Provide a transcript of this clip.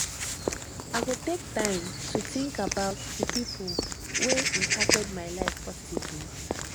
i go take time to think about the pipo wey impacted my life positively